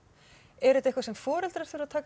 er þetta eitthvað sem foreldrar þurfa að taka